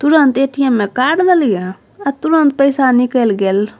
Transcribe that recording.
तुरंत ए.टी.एम. में कार्ड अ तुरंत पईसा निकल गेल।